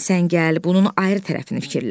Sən gəl bunun ayrı tərəfini fikirləş.